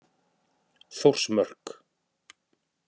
Þórsmörk